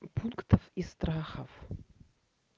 пунктов и страхов